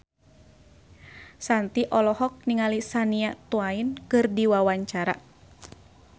Shanti olohok ningali Shania Twain keur diwawancara